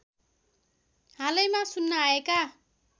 हालैमा सुन्न आएका